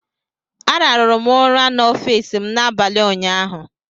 Ararụrụ m ụra n'ọfiisi m n'abalị ụnyaahụ.